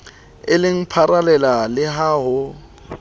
eleng pharela le ha ho